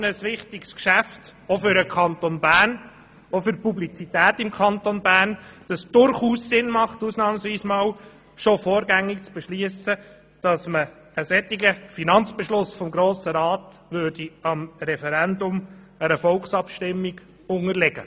Das eine sagt, das ist für den Kanton Bern und auch für seine Publizität ein derart wichtiges Geschäft, dass es durchaus Sinn macht, ausnahmsweise schon vorgängig zu entscheiden, einen solchen Finanzbeschluss des Grossen Rats dem Referendum einer Volksabstimmung zu unterstellen.